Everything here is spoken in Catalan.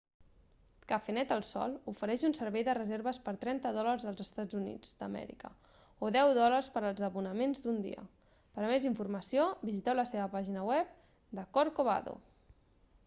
cafenet el sol ofereix un servei de reserves per 30 dòlars dels eua o 10 dòlars pels abonaments d'un dia per a més informació visiteu la seva pàgina de corcovado